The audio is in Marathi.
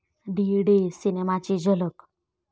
डी डे' सिनेमाची झलक